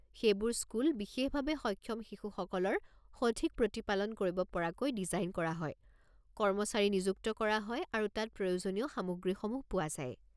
সেইবোৰ স্কুল বিশেষভাৱে সক্ষম শিশুসকলৰ সঠিক প্ৰতিপালন কৰিব পৰাকৈ ডিজাইন কৰা হয়, কৰ্মচাৰী নিযুক্ত কৰা হয় আৰু তাত প্ৰয়োজনীয় সামগ্ৰীসমূহ পোৱা যায়।